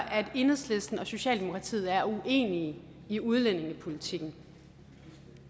at enhedslisten og socialdemokratiet er uenige i udlændingepolitikken